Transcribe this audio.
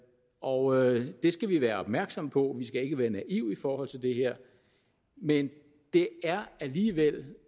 og det skal vi være opmærksomme på vi skal ikke være naive i forhold til det her men det er alligevel